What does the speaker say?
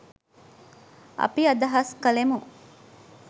අපි අදහස් කළෙමු